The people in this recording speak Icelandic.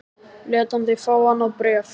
Lét hann þig fá annað bréf?